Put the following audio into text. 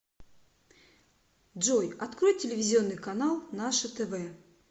джой открой телевизионный канал наше тв